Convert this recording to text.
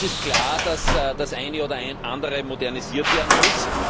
Uns ist klar, dass das eine oder andere modernisiert werden muss.